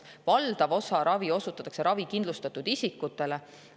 Valdav osa ravi osutatakse ravikindlustatud isikutele.